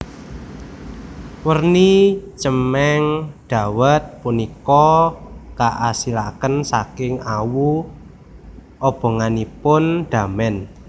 Werni cemeng dawet punika kaasilaken saking awu obonganipun damen